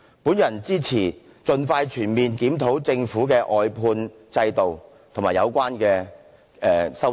我支持盡快全面檢討政府的外判制度及有關修正案。